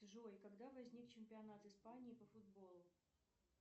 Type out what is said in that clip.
джой когда возник чемпионат испании по футболу